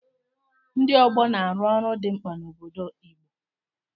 Ndị ọgbọ na-arụ ọrụ dị mkpa n'obodo Igbo.